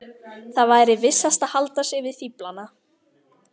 Það væri vissast að halda sig við fíflana.